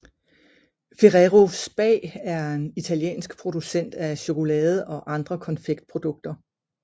Ferrero SpA er en italiensk producent af chokolade og andre konfektprodukter